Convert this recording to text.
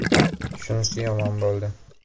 Shunisi yomon bo‘ldi.